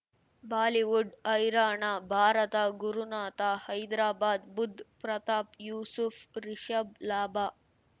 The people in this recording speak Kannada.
ಬಾಲಿವುಡ್ ಹೈರಾಣ ಭಾರತ ಗುರುನಾಥ ಹೈದರಾಬಾದ್ ಬುಧ್ ಪ್ರತಾಪ್ ಯೂಸುಫ್ ರಿಷಬ್ ಲಾಭ